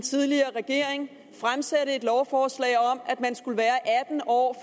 tidligere regering fremsatte et lovforslag om at man skal være atten år